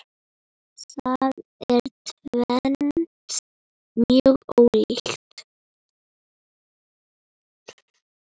Það er tvennt mjög ólíkt.